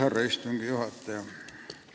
Härra istungi juhataja!